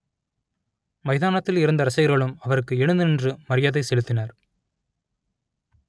மைதானத்தில் இருந்த ரசிகர்களும் அவருக்கு எழுந்து நின்று மரியாதை செலுத்தினர்